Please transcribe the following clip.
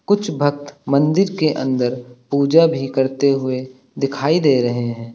कुछ भक्त मंदिर के अंदर पूजा भी करते हुए दिखाई दे रहे हैं।